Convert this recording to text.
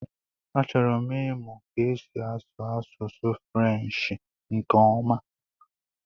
Achọrọ m ịmụ ka esi asụ Asụsụ frenshi nke ọma